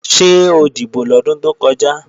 Ṣé o dìbò lọ́dún tó kọjá?